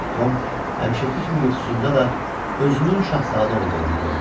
Tom həmişəki kimi yuxusunda da özünün şahzadə olduğunu gördü.